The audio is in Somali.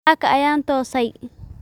Saaka ayaan toosay